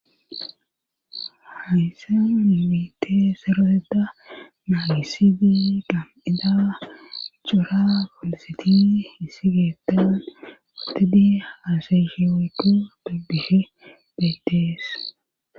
Hayse mani biite seroteda naagisidi gam7ida iccora folositi hisi geetan utidi asaysheweydu dugbihe beetees.